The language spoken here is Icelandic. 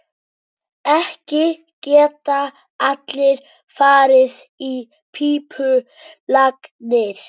Ekki geta allir farið í pípulagnir.